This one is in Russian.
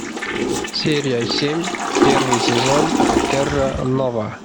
серия семь первый сезон терра нова